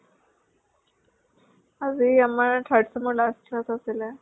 আজি আমাৰ third sem ৰ last class আছিলে।